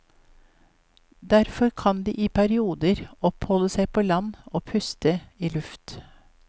Derfor kan de i perioder oppholde seg på land og puste i luft.